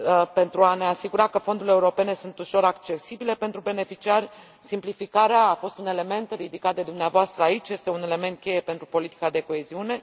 Pentru a ne asigura că fondurile europene sunt ușor accesibile pentru beneficiari, simplificarea a fost un element ridicat de dumneavoastră aici, fiind un element cheie pentru politica de coeziune.